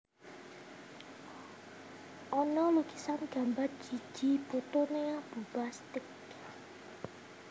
Ono lukisan gambar driji puthul ning Abuba Steak